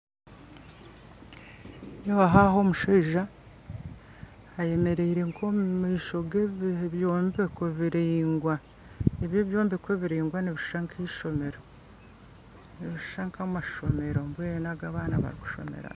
Nindeebaho aho omushaija ayemereire nk'omumaisho g'ebyombeko biraingwa, ebyo ebyombeko ebiraingwa nibishusha n'keishomero nibishusha nk'amashomero mbwenu agu abaana barikushomeramu.